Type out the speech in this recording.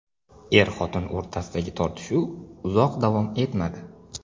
Er-xotin o‘rtasidagi tortishuv uzoq davom etmadi.